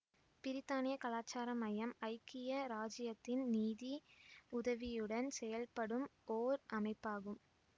பிரித்தானியக் கலாச்சார மையம் ஐக்கிய இராச்சியத்தின் நீதி உதவியுடன் செயல்படும் ஓர் அமைப்பாகும்